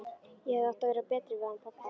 Ég hefði átt að vera betri við hann pabba.